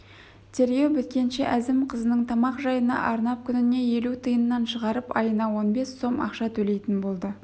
тергеу біткенше әзім қызының тамақ жайына арнап күніне елу тиыннан шығарып айына он бес сом ақша төлейтін болады